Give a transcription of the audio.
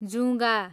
जुँगा